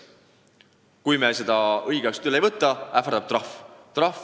Kui me neid õigeks ajaks üle ei võta, ähvardab meid trahv.